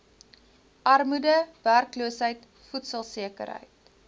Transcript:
armoede werkloosheid voedselsekerheid